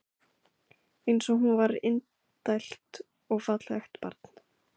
Eins og hún var indælt og fallegt barn.